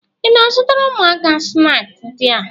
Ị na-azụtara ụmụaka snaakị ndị a?